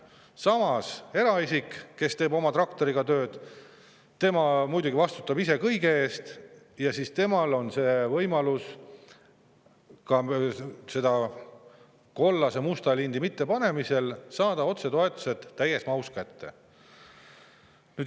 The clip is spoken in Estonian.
Samas eraisik, kes teeb oma traktoriga tööd, muidugi vastutab ise kõige eest ja temal on võimalus ka siis, kui seda musta-kollase linti ei ole pandud, saada otsetoetused täies mahus kätte.